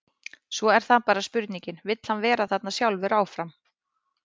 Svo er það bara spurningin, vill hann vera þarna sjálfur áfram?